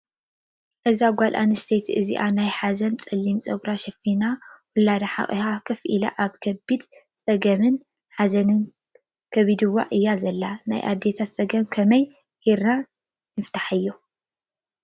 እዛ ጓል ኣነስተይቲይ እዚኣ ናይ ሓዘን ፀሊም ፀጉራ ሸፊና ውላዳ ሓቁፋ ኮፍ ኢላ ኣብ ከቢድ ፀገምንሓዘን ከቢዱዋ እያ ዘላ:: ናይ አዴታት ፀገማት ከመይ ጌርና ንፍታሓዮ ?